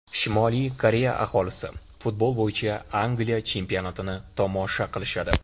Shimoliy Koreya aholisi futbol bo‘yicha Angliya chempionatini tomosha qilishadi.